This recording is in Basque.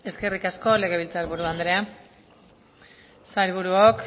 eskerrik asko legebiltzar buru andrea sailburuok